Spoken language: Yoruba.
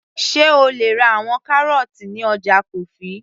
sé o lè ra àwọn kárọ́ọ́tì ní ọjà kofi